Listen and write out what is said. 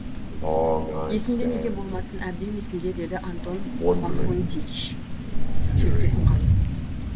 есімде неге болмасын әбден есімде деді антон пафнутьич желкесін қасып